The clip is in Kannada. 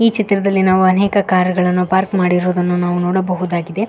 ಈ ಚಿತ್ರದಲ್ಲಿ ನಾವು ಅನೇಕ ಕಾರ್ ಗಳನ್ನು ಪಾರ್ಕ್ ಮಾಡಿರುವುದನ್ನು ನಾವು ನೋಡಬಹುದಾಗಿದೆ.